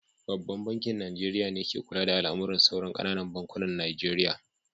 Babban bankin Nijeriya ne ka kula da al'amuran sauran ƙananan bankunan Najeriya